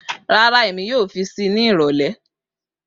Rara Emi yoo fi sii ni irọlẹ